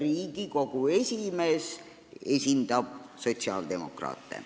Ja Riigikogu esimees esindab sotsiaaldemokraate.